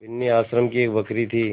बिन्नी आश्रम की एक बकरी थी